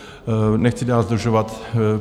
Nechci dál zdržovat.